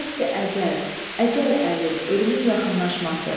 Dəsti əcəl, əcəl əli, ölümün yaxınlaşması.